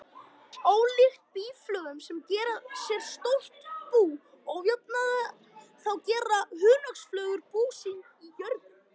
Ólíkt býflugum sem gera sér stór bú ofanjarðar, þá gera hunangsflugur bú sín í jörðu.